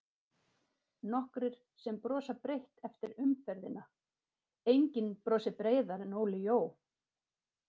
Nokkrir sem brosa breitt eftir umferðina:- Enginn brosir breiðar en Óli Jó.